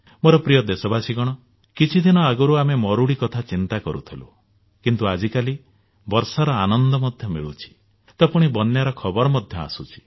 ମୋର ପ୍ରିୟ ଦେଶବାସୀଗଣ କିଛି ଦିନ ଆଗରୁ ଆମେ ମରୁଡି କଥା ଚିନ୍ତା କରୁଥିଲେ କିନ୍ତୁ ଆଜି କାଲି ବର୍ଷାର ଆନନ୍ଦ ମଧ୍ୟ ମିଳୁଛି ତ ପୁଣି ବନ୍ୟାର ଖବର ମଧ୍ୟ ଆସୁଛି